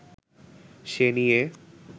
সে নিয়ে